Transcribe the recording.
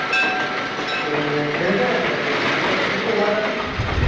to সেনেকুৱাই আছিলে আৰু like সেইটো overcoming session আছিলে